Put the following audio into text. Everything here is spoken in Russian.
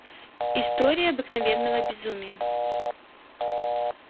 история обыкновенного безумия